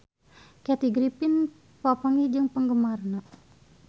Kathy Griffin papanggih jeung penggemarna